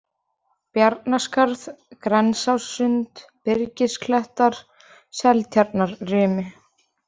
Bjarnaskarð, Grensássund, Birgisklettar, Seftjarnarrimi